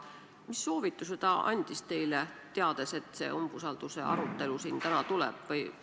Mis soovitusi ta teile andis, teades, et see umbusalduse arutelu siin täna tuleb?